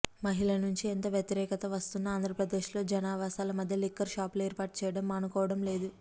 మహిళ నుంచి ఎంత వ్యతిరేకత వస్తున్నా ఆంధ్రప్రదేశ్ లో జనావాసాల మధ్య లిక్కర్ షాపులు ఏర్పాటుచేయడం మానుకోవడం లేదు